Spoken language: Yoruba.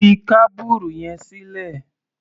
Fi kábùrù yẹn sílẹ̀!